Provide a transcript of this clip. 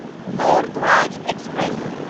مور Dhwaj express